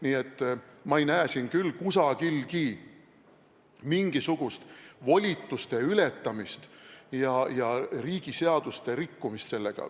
Nii et ma ei näe siin küll kusagil mingisugust volituste ületamist ja riigi seaduste rikkumist.